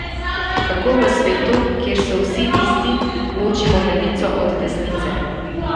Kako v svetu, kjer so vsi isti, ločimo levico od desnice?